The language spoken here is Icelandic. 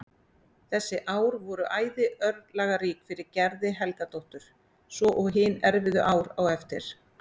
Þessi ár voru æði örlagarík fyrir Gerði Helgadóttur svo og hin erfiðu ár á eftir.